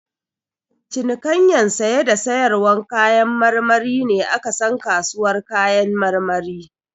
Cinikayyan saye da sayarwar kayan marmari ne a ka san kasuwar kayan marmari.